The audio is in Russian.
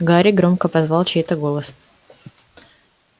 гарри громко позвал чей-то голос